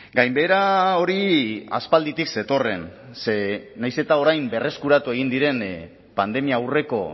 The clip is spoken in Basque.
gainbehera hori aspalditik zetorren ze nahiz eta orain berreskuratu egin diren pandemia aurreko